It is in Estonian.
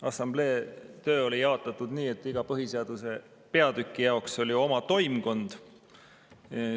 Assamblee töö oli jaotatud nii, et iga põhiseaduse peatüki jaoks oli oma toimkond.